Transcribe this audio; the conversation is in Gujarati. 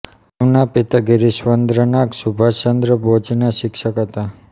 તેમના પિતા ગિરિશ્ચંદ્ર નાગ સુભાષચંદ્ર બોઝના શિક્ષક હતા